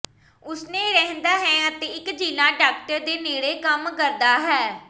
ਉਸ ਨੇ ਰਹਿੰਦਾ ਹੈ ਅਤੇ ਇਕ ਜ਼ਿਲ੍ਹਾ ਡਾਕਟਰ ਦੇ ਨੇੜੇ ਕੰਮ ਕਰਦਾ ਹੈ